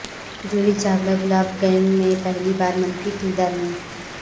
Juhi Chawla Gulaab gang میں پہلی بار منفی کردار میں